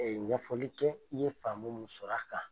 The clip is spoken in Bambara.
ɲɛfɔli kɛ i ye faamu mun sɔrɔ a kan.